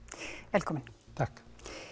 velkominn takk